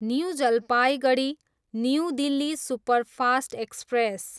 new Jalpaiguri, new Delhi superfast express